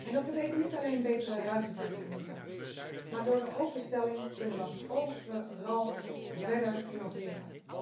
Dat betekent niet alleen betere ruimtevaarttechnieken, maar door de openstelling kunnen we overal verder innoveren.